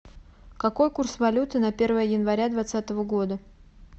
какой курс валюты на первое января двадцатого года